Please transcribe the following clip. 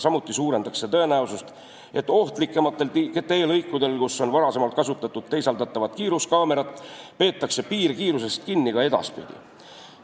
Samuti suurendaks see tõenäosust, et ohtlikematel teelõikudel, kus on varem kasutatud teisaldatavaid kiiruskaameraid, peetakse piirkiirusest kinni ka edaspidi.